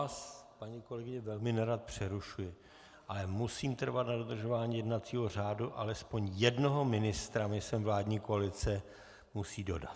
Já vás, paní kolegyně, velmi nerad přerušuji, ale musím trvat na dodržování jednacího řádu, alespoň jednoho ministra mi sem vládní koalice musí dodat.